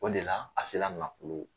O de la a se la nafolo